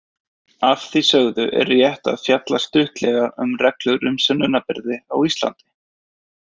Að því sögðu er rétt að fjalla stuttlega um reglur um sönnunarbyrði á Íslandi.